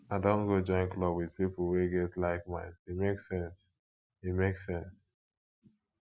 i don go join club with pipo wey get likeminds e make sense e make sense